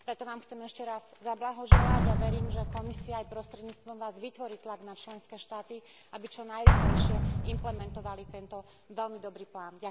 Preto Vám chcem ešte raz zablahoželať a verím, že Komisia aj prostredníctvom Vás vytvorí tlak na členské štáty, aby čo najrýchlejšie implementovali tento veľmi dobrý plán.